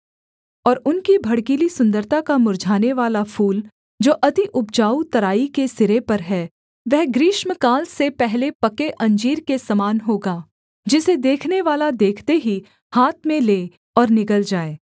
और उनकी भड़कीली सुन्दरता का मुर्झानेवाला फूल जो अति उपजाऊ तराई के सिरे पर है वह ग्रीष्मकाल से पहले पके अंजीर के समान होगा जिसे देखनेवाला देखते ही हाथ में ले और निगल जाए